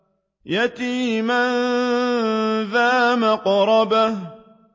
يَتِيمًا ذَا مَقْرَبَةٍ